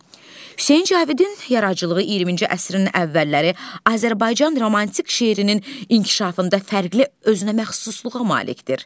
Hüseyn Cavidin yaradıcılığı 20-ci əsrin əvvəlləri Azərbaycan romantik şeirinin inkişafında fərqli özünəməxsusluğa malikdir.